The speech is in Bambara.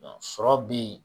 Sɔrɔ bɛ yen